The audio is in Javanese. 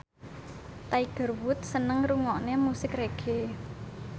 Tiger Wood seneng ngrungokne musik reggae